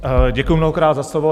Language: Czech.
Děkuji mnohokrát za slovo.